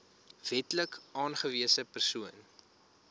wetlik aangewese persoon